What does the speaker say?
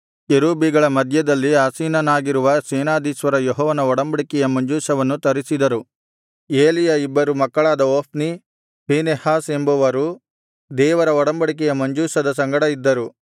ಕೆರೂಬಿಗಳ ಮಧ್ಯದಲ್ಲಿ ಆಸೀನನಾಗಿರುವ ಸೇನಾಧೀಶ್ವರ ಯೆಹೋವನ ಒಡಂಬಡಿಕೆಯ ಮಂಜೂಷವನ್ನು ತರಿಸಿದರು ಏಲಿಯ ಇಬ್ಬರು ಮಕ್ಕಳಾದ ಹೊಫ್ನಿ ಫೀನೆಹಾಸ್ ಎಂಬವರು ದೇವರ ಒಡಂಬಡಿಕೆಯ ಮಂಜೂಷದ ಸಂಗಡ ಇದ್ದರು